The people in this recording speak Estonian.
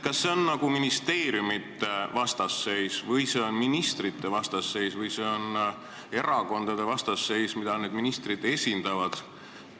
Kas see on ministeeriumide vastasseis või ministrite vastasseis või erakondade vastasseis, mida need ministrid esindavad?